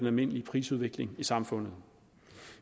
almindelige prisudvikling i samfundet